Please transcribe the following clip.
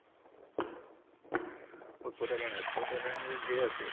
উৎপতিয়া কাহিনী, উৎপতিয়া কাহিনীটো ধেৰ আছে।